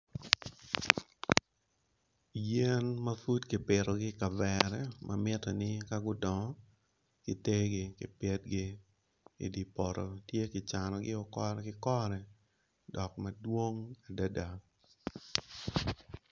Yen ma pud kipito gi i kavera ma mite ni ka gudong giter gi gipitgi idi poto tye gicanogi o kore gikore dok madwong adada.